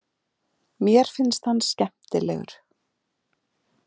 Mér finnst hann skemmtilegur.